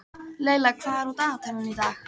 Leyla, hvað er á dagatalinu í dag?